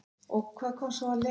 Hef enga trú á honum.